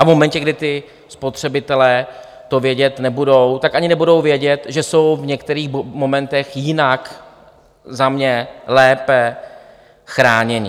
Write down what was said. A v momentě, kdy ti spotřebitelé to vědět nebudou, tak ani nebudou vědět, že jsou v některých momentech jinak - za mě lépe - chráněni.